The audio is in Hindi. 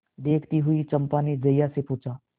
देखती हुई चंपा ने जया से पूछा